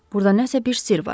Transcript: Burda nəsə bir sirr var.